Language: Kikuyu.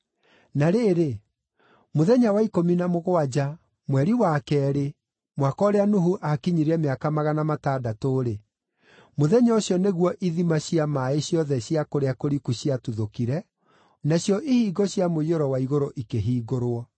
Na rĩrĩ, mũthenya wa ikũmi na mũgwanja, mweri wa keerĩ, mwaka ũrĩa Nuhu akinyirie mĩaka magana matandatũ-rĩ, mũthenya ũcio nĩguo ithima cia maaĩ ciothe cia kũrĩa kũriku ciatuthũkire, nacio ihingo cia mũiyũro wa igũrũ ikĩhingũrwo.